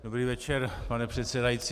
Dobrý večer, pane předsedající.